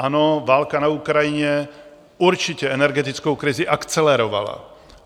Ano, válka na Ukrajině určitě energetickou krizi akcelerovala.